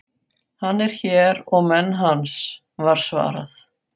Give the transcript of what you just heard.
Hann er hér og menn hans, var svarað.